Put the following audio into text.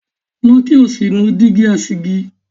Lọ kí o sì nu Dígí asìjì!